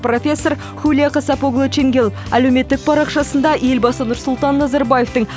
профессор хулия касапоғлы ченгел әлеуметтік парақшасында елбасы нұрсұлтан назарбаевтың